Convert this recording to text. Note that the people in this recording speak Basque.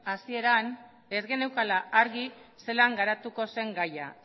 hasieran ez geneukala argi zelan garatuko zen gaia